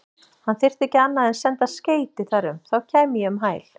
Hann þyrfti ekki annað en senda skeyti þar um, þá kæmi ég um hæl.